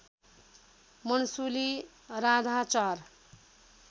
मन्सुली राधा चार